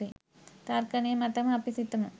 තර්කනය මතම අපි සිතමු.